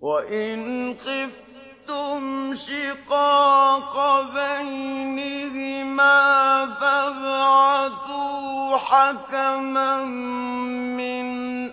وَإِنْ خِفْتُمْ شِقَاقَ بَيْنِهِمَا فَابْعَثُوا حَكَمًا مِّنْ